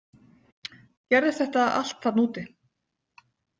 Gerðist þetta allt þarna úti?